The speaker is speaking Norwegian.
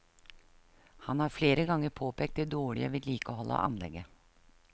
Han har flere ganger påpekt det dårlige vedlikeholdet av anlegget.